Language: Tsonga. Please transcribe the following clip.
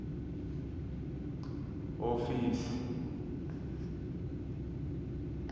hofisi